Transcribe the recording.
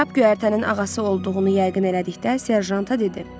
Kap güərtənin ağası olduğunu yəqin elədikdə serjanta dedi.